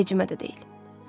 Vecimə də deyil.